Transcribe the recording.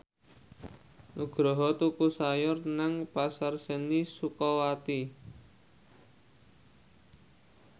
Nugroho tuku sayur nang Pasar Seni Sukawati